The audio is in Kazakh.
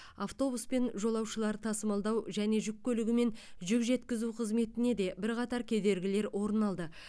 автобуспен жолаушылар тасымалдау және жүк көлігімен жүк жеткізу қызметіне де бірқатар кедергілер орын алды